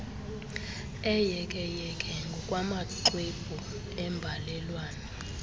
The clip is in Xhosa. eyekeyeke ngokwamaxwebhu embalelwano